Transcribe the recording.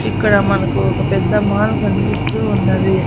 ఇక్కడ మనకు ఒక పెద్ద మాల్ కన్పిస్తూ ఉన్నది.